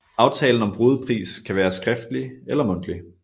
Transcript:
Aftalen om brudepris kan være skriftlig eller mundtlig